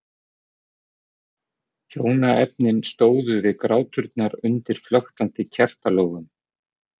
Hjónaefnin stóðu við gráturnar undir flöktandi kertalogum.